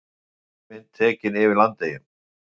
Loftmynd tekin yfir Landeyjum.